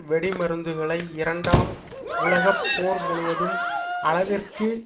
வெடிமருந்துகளை இரண்டாம் உலக போர் முழுவதும் அளவிற்கு